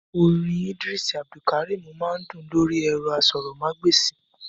Orin ìdírísì Abdulkarim máa ń dún lórí ẹ̀rọ asọ̀rọ̀mágb'èsì